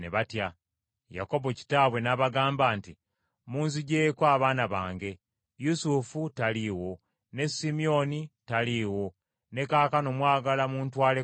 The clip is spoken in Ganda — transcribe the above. Yakobo kitaabwe n’abagamba nti, “Munzigyeko abaana bange: Yusufu taliiwo, ne Simyoni taliiwo ne kaakano mwagala muntwaleko Benyamini!”